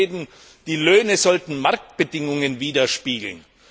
Da ist zu lesen, die Löhne sollten Marktbedingungen widerspiegeln.